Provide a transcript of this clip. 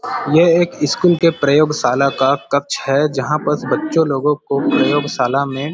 ये एक स्कूल के प्रयोगशाला का कक्ष हैं जहाँ पास बच्चे लोगो को प्रयोगशाला में--